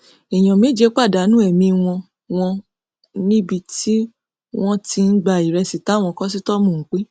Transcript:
èèyàn méje pàdánù ẹmí wọn wọn níbi tí wọn ti ń gba ìrẹsì táwọn kọsítọọmù ń pín